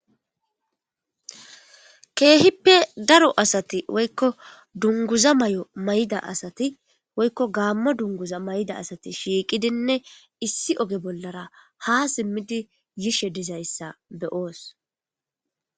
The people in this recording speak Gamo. Keehippe daro asati woykko dunguza mayo maayida asati woykko gaamo dunguza maayida asati shiiqidinne issi oge bollara haa simmidi yishe dizaysa be'os